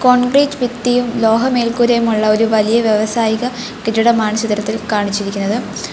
Concrete ഭിത്തിയും ലോകമേൽക്കൂരയും ഉള്ള ഒരു വലിയ വ്യവസായിക കെട്ടിടമാണ് ചിത്രത്തിൽ കാണിച്ചിരിക്കുന്നത്.